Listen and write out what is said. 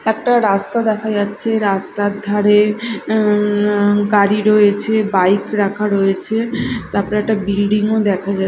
একটা রাস্তা দেখা যাচ্ছে রাস্তার ধারে অ্যা গাড়ি রয়েছে বাইক রাখা রয়েছে তারপরে বিল্ডিং -ও দেখা যা--